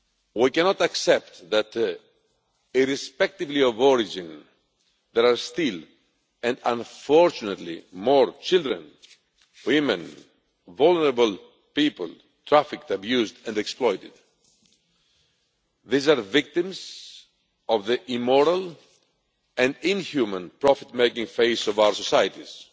We cannot accept that irrespective of origin there are still and unfortunately more children, women, vulnerable people trafficked, abused and exploited. These are victims of the immoral and inhuman profit making face of our societies.